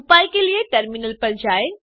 उपाय के लिए टर्मिनल पर जाएँ